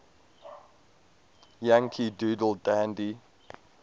yankee doodle dandy